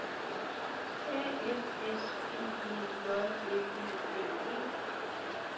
A F S P E J L E D E